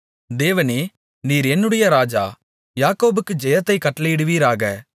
தேவனே நீர் என்னுடைய ராஜா யாக்கோபுக்கு ஜெயத்தை கட்டளையிடுவீராக